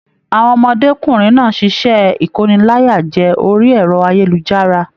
Àwọn ọmọdékunrin náà ṣiṣẹ ikóníláyàjẹ̀ orí ẹrọ ayélujára.